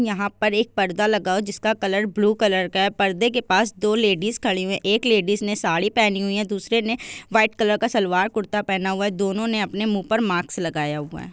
यहा पर एक पर्दा लगा हुआ है। जिस का कलर ब्लू कलर का है। परदे के पास दो लेडिज खड़ी हुई है। एक लेडिज ने साड़ी पहनी हुई है दूसरी ने व्हाइट कलर का सलवार कुर्ता पहन हुआ है। दोनों ने अपने मुँह पर मास्क लगाया हुआ है ।